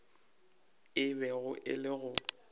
a bego a le go